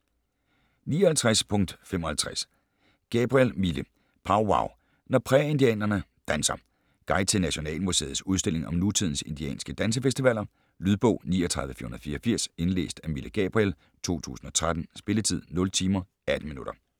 59.55 Gabriel, Mille: Powwow - når prærieindianerne danser Guide til Nationalmuseets udstilling om nutidens indianske dansefestivaler. Lydbog 39484 Indlæst af Mille Gabriel, 2013. Spilletid: 0 timer, 18 minutter.